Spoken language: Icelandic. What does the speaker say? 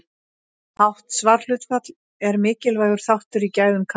Hátt svarhlutfall er mikilvægur þáttur í gæðum kannana.